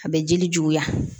A bɛ jeli juguya